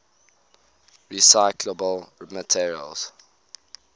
recyclable materials